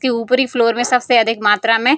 के उपरी फ्लोर में सबसे अधिक मात्रा में --